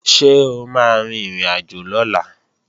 Ṣé o máa rin ìrìnàjò lọ́la?